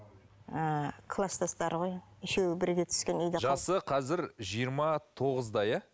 ы кластастары ғой үшеуі бірге түскен жасы қазір жиырма тоғызда иә